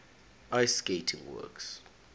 ice skating works